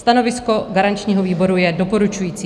Stanovisko garančního výboru je doporučující.